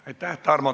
Aitäh!